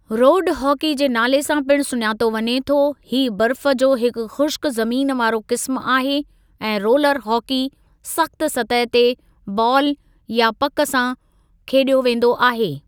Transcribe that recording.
रोडु hockey जे नाले सां पिण सुञातो वञे थो हीअ बर्फ़ जो हिक ख़ुश्क ज़मीन वारो क़िस्मु आहे ऐं रोलर हॉकी सख़्तु सतह ते बालु या पक सां खेॾियो वेंदो आहे।